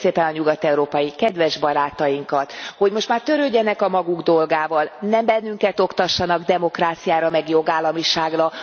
Kérném szépen a nyugat európai kedves barátainkat, hogy most már törődjenek a maguk dolgával, ne bennünket oktassanak demokráciára, meg jogállamiságra.